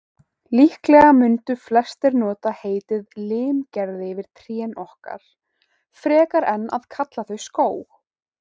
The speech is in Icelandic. Líklega mundu flestir nota heitið limgerði yfir trén okkar, frekar en að kalla þau skóg.